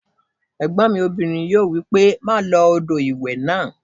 Ẹ̀gbọ́n mi obìnrin yóò wí pé "má lo odò ìwẹ̀ náà"